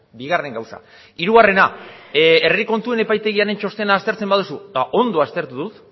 bigarren gauza hirugarrena herri kontuen epaitegiaren txostena aztertzen baduzu eta ondo aztertu